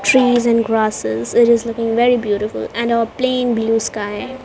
trees and grasses it is looking very beautiful and a plain blue sky .